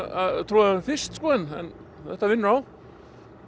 trú á þeim fyrst en þetta vinnur á